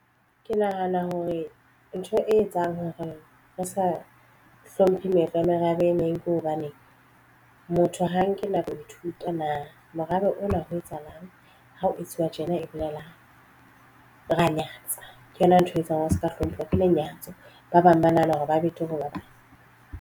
Ke nahana hore ntho e etsang hore re sa hlomphe meetlo ya merabe e meng. Ke hobane motho ha nke na boithuto na morao haeba o na ho etsahalang ha ho etsuwa tjena e bolelang ra nyatsa ke yona ntho etsang hore re se ka hlompha lenyatso. Ba bang ba nahana hore ba betere ha ba bang.